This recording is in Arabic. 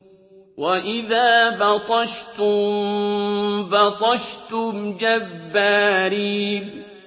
وَإِذَا بَطَشْتُم بَطَشْتُمْ جَبَّارِينَ